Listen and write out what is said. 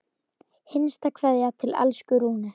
HINSTA KVEÐJA Til elsku Rúnu.